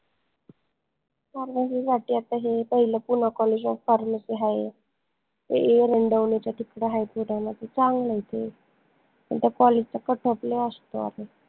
Pharmacy साठी आता हे पाहिलं PoonaCollegeofPharmacy हाय एरंडवनेच्या तिकडं HighCourt हाय न त चांगलंय ते पन त्या college चा cutoff लय असतो